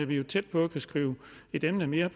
vi er tæt på at kunne skrive et emne mere